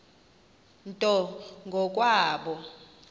nto ngo kwabo